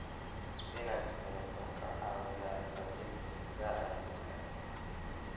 Isbinaashka wuxuu ka caawiyaa xoojinta difaaca jidhka.